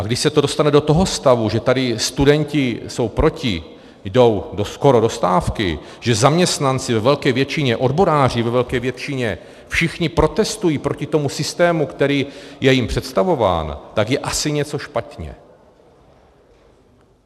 A když se to dostane do toho stavu, že tady studenti jsou proti, jdou skoro do stávky, že zaměstnanci, ve velké většině odboráři, ve velké většině všichni protestují proti tomu systému, který je jim představován, tak je asi něco špatně.